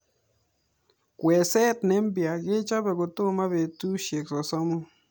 Kweeset ne mpya kechope kotoma petushek sosom.